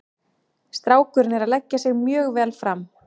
Strákurinn er að leggja sig mjög vel fram.